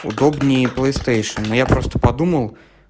удобнее плейстейшен но я просто подумал